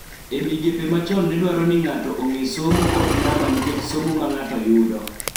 E migepe ma chon ne dwaro ni ng�ato ong�e somo kod namba nikech somo ma ng�ato yudo.